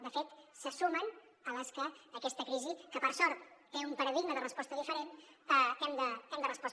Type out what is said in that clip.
de fet se sumen a les que aquesta crisi que per sort té un paradigma de resposta diferent